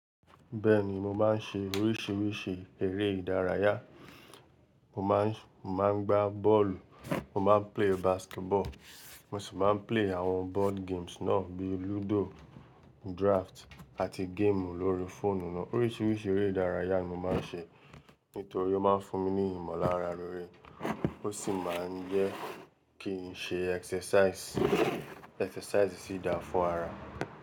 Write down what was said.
Bẹ́ẹ̀ni, mo máa ń ṣe oríṣiríṣi eré ìdárayá. Mo máa ń, mo máa ń gbá bọ́ọ̀lù, mo máa ń gbà basketball, mo sì máa ń gba àwọn board games náà bíi ludo, draft àti game lórí fóònù náà. Oríṣiríṣi eré ìdárayá ni mo máa ń ṣe nítorí ó máa ń fún mi ní ìmọ̀lára lóore ó sì máa ń jẹ́ kí n ṣe exercise. Idaraya sì da fún ara.